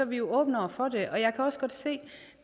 vi åbne over for det jeg kan også godt se at